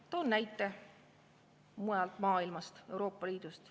Toon näite mujalt maailmast, Euroopa Liidust.